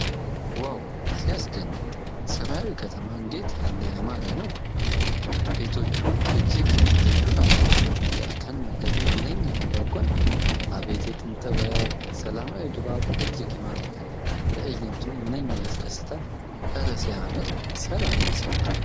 ዋው ሲያስደንቅ! ሰማያዊው ከተማ እንዴት ያለ ያማረ ነው! ቤቶቹ እጅግ ልዩ ናቸው። የእርከን መንገዱ ምንኛ ያጓጓል! አቤት የጥንት ጥበብ! ሰላማዊ ድባቡ እጅግ ይማርካል። ትዕይንቱ ምንኛ ያስደስታል! እረ ሲያምር! ሰላማዊ ስፍራ!